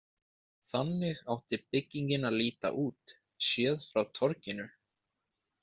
Þannig átti byggingin að líta út, séð frá torginu.